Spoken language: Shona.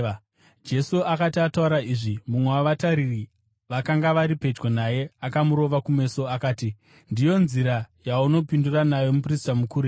Jesu akati ataura izvi, mumwe wavatariri vakanga vari pedyo naye akamurova kumeso. Akati, “Ndiyo nzira yaunopindura nayo muprista mukuru here?”